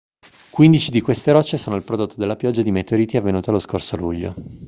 quindici di queste rocce sono il prodotto della pioggia di meteoriti avvenuta lo scorso luglio